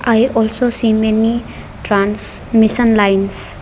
i also see many trans mission lines.